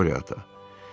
Qorya Ata.